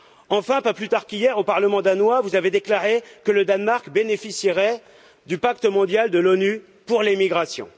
Enfin, pas plus tard qu'hier, au Parlement danois, vous avez déclaré que le Danemark bénéficierait du pacte mondial des Nations unies pour les migrations.